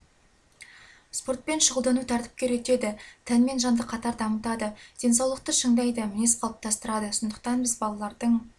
спортпен шұғылдану тәртіпке үйретеді тән мен жанды қатар дамытады денсаулықты шыңдайды мінез қалыптастырады сондықтан біз балалардың